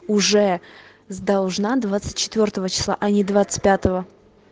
уже с должна двадцать четвёртого числа а не двадцать пятого